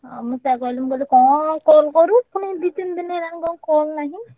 ମୁଁ ସେୟା କହିଲି ମୁଁ କହିଲି କଣ call କରୁ ପୁଣି ଦି ତିନି ଦିନି ହେଲାଣି କଣ call ନାହିଁ।